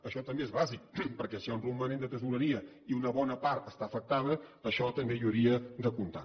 això també és bàsic perquè si hi ha un romanent de tresoreria i una bona part està afectada això també hi hauria de comptar